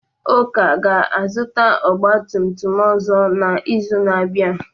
Uka ga-azụta ọgba tum tum ọzọ n'izu na-abịa.